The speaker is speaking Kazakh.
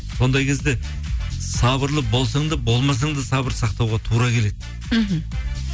сондай кезде сабырлы болсаң да болмасаң да сабыр сақтауға тура келеді мхм